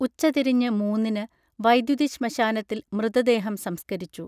ഉച്ച തിരിഞ്ഞ് മൂന്നിന് വൈദ്യുതി ശ്മശാനത്തിൽ മൃതദേഹം സംസ്കരിച്ചു